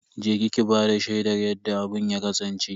Je ki ki bada shaidar yadda abun ya kasance.